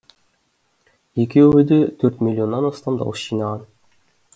екеуі де төрт миллионнан астам дауыс жинаған